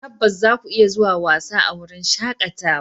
Tabbas, zaku iya zuwa wasa a wurin shakatawa.